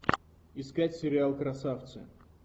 искать сериал красавцы